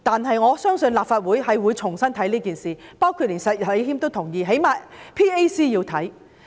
不過，我相信立法會應重新審視整件事，包括石禮謙議員亦贊同，至少 PAC 應要調查。